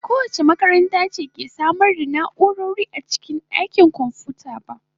Ba kowace makaranta ce ke samar da na'urori a cikin dakin kwamfuta ba.